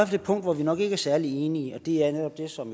fald et punkt hvor vi nok ikke er særlig enige og det er netop det som